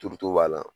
Turuto b'a la